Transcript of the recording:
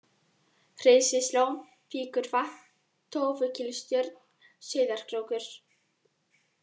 Hreysislón, Víkurvatn, Tófukílstjörn, Sauðárkrókur